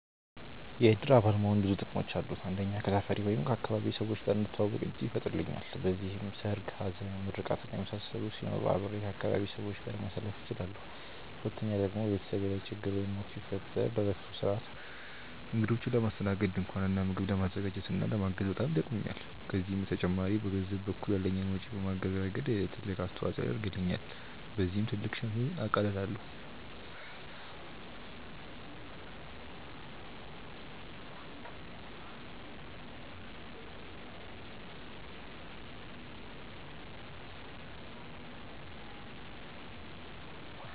የእድር አባል መሆን ብዙ ጥቅሞች አሉት። አንደኛ ከሰፈሬ/ አካባቢዬ ሰዎች ጋር እንድተዋወቅ እድል ይፈጥርልኛል። በዚህም ሰርግ፣ ሀዘን፣ ምርቃት እና የመሳሰሉት ሲኖሩ አብሬ ከአካባቢዬ ሰዎች ጋር ማሳለፍ እችላለሁ። ሁለተኛ ደግሞ በቤተሰቤ ላይ ችግር ወይም ሞት ቢፈጠር ለለቅሶ ስርአት፣ እግዶችን ለማስተናገድ፣ ድንኳን እና ምግብ ለማዘጋጀት እና ለማገዝ በጣም ይጠቅሙኛል። ከዚህም በተጨማሪ በገንዘብ በኩል ያለኝን ወጪ በማገዝ ረገድ ትልቅ አስተዋፅኦ ያደርግልኛል። በዚህም ትልቅ ሸክምን አቃልላለሁኝ።